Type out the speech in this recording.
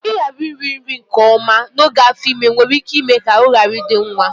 Ịghara iri nri nke ọma n'oge afọ ime nwere ike ime ka ahụ ghara ịdị nwa